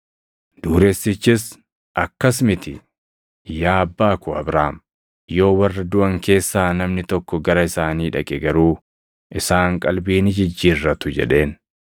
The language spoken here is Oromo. “Dureessichis, ‘Akkas miti; yaa abbaa koo Abrahaam; yoo warra duʼan keessaa namni tokko gara isaanii dhaqe garuu, isaan qalbii ni jijjiirratu’ jedheen.